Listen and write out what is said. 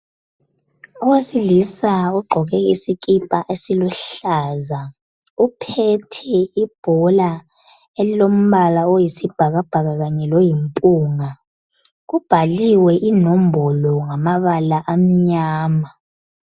Owesilisa ogqoke isikipa esiluhlaza uphethe ibhola elilombala oyisibhakabhaka kanye loyimpunga. Kubhaliwe inombolo ngamabala amnyama